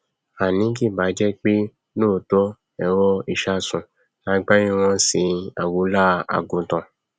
àní kì báà jẹpé lóòótọ èrò ìsásùn lagbárí wọn nṣẹ àgunlá àgùntàn